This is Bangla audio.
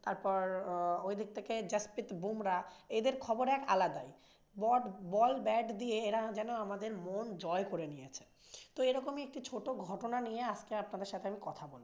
তারপর ওইদিক থেকে জাসপ্রিত বুমরাহ এদের খবর আলাদাই। বট~ বল ব্যাট দিয়ে এরা যেন আমাদের মন জয় করে নিয়েছে। তো এরকমই একটি ছোট ঘটনা নিয়ে আজকে আপনাদের সাথে আমি কথা বলবো।